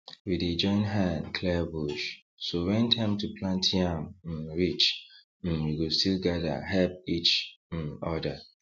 we dey join hand clear bush so when time to plant yam um reach um we go still gather help each um other